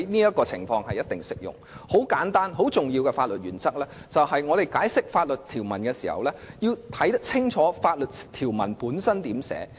有一項很簡單和很重要的法律原則，就是在解釋法律條文時，我們必須清楚研究法律條文的寫法。